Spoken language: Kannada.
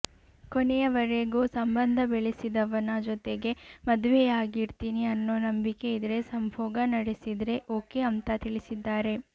ಕೊನೆಯವರೆಗೂ ಸಂಬಂಧ ಬೆಳೆಸಿದವನ ಜೊತೆಗೆ ಮದುವೆಯಾಗಿ ಇರ್ತೀನಿ ಅನ್ನೋ ನಂಬಿಕೆ ಇದ್ರೆ ಸಂಭೋಗ ನಡೆಸಿದ್ರೆ ಓಕೆ ಅಂತ ತಿಳಿಸಿದ್ದಾರೆ